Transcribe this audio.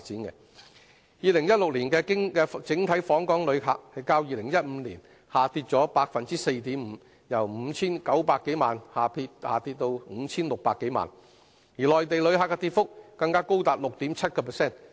2016年的整體訪港旅客，較2015年下跌 4.5%， 由 5,900 多萬人下跌至 5,600 多萬人，內地旅客的跌幅更高達 6.7%。